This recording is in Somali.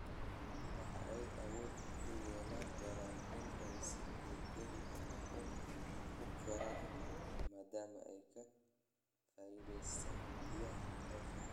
Waxa ay awood u yeelan doontaa in ay si degdeg ah u koraan maadaama ay ka faa'iideysanayaan biyaha roobka.